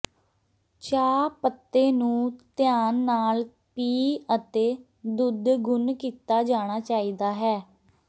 ਚਾਹ ਪੱਤੇ ਨੂੰ ਧਿਆਨ ਨਾਲ ਪੀਹ ਅਤੇ ਦੁੱਧ ਗੁਨ੍ਹ ਕੀਤਾ ਜਾਣਾ ਚਾਹੀਦਾ ਹੈ